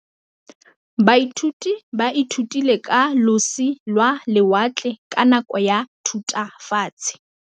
Baithuti ba ithutile ka losi lwa lewatle ka nako ya Thutafatshe.